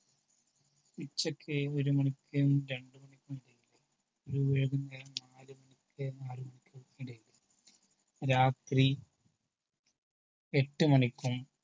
ഉച്ചക്ക് ഒരു മണിക്കും രണ്ടു മണിക്കും ഇടയില് വൈകുന്നേരം നാല് മണിക്കും നാല് മുപ്പതിനും ഇടയിൽ രാത്രി എട്ടു മണിക്കും